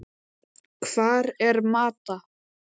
Hvar er Mata?